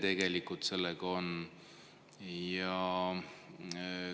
Kui kiire sellega on?